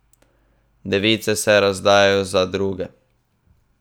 Device se razdajajo za druge.